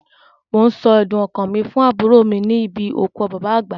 Mò ń sọ ẹ̀dùn ọkàn mi fún àbúrò níbi òkú bàbá àgbà.